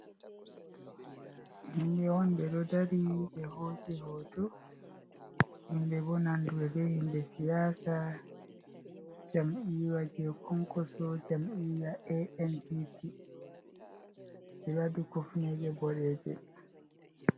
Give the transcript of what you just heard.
Himbe on ɓeɗo dari be hosiɓe hoto himbe bonandurbe himbe siyasa jam'iwa je konkoso jamiya anpp firadu kofneje boreje